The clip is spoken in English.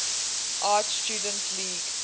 art students league